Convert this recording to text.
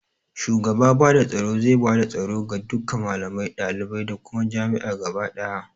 Shugaba bada tsoro zai bada tsoro ga duka malamai, dalibai da kuma jami'a gaba ɗaya